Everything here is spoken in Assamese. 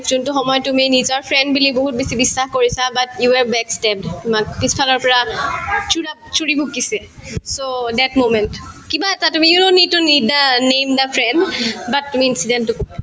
যোনতো সময়ত তুমি নিজৰ friend বুলি বহুত বেছি বিশ্বাস কৰিছা but you are backstabbed তোমাক পিছফালৰ পৰা chhura ‍চুৰি ভুকিছে so that moment কিবা এটা তুমি you not need to the name the friend but তুমি incident তো কবা